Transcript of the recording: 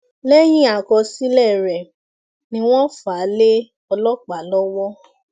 lẹyìn àkọsílẹ rẹ ni wọn wọn fà á lé ọlọpàá lọwọ